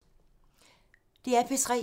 DR P3